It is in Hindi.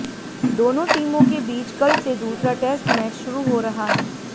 दोनों टीमों के बीच कल से दूसरा टेस्ट मैच शुरू हो रहा है